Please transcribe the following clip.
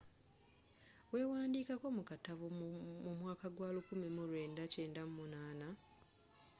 y'ewandikako mu katabo mu mwaka gwa 1998